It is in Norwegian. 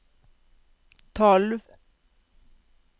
tolv